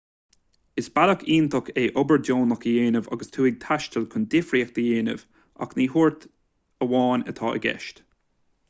is bealach iontach é obair dheonach a dhéanamh agus tú ag taisteal chun difríocht a dhéanamh ach ní tabhairt amháin atá i gceist